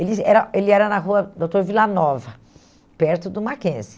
Ele era ele era na rua Doutor Vila Nova, perto do Mackenzie.